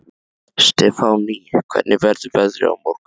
Stefánný, hvernig verður veðrið á morgun?